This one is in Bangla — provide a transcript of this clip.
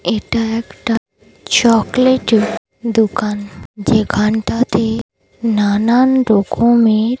এটা একটা চকলেট -এর দোকান যেখানটা তে নানান রকমের--